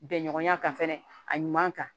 Bɛnɲɔgɔnya kan fɛnɛ a ɲuman kan